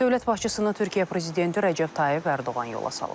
Dövlət başçısını Türkiyə prezidenti Rəcəb Tayyib Ərdoğan yola salıb.